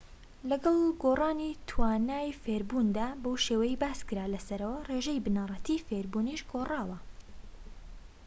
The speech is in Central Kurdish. لەگەڵ گۆڕانی توانای فێربووندا بەو شێوەیەی باسکرا لەسەرەوە ڕێژەی بنەڕەتیی فێربوونیش گۆڕاوە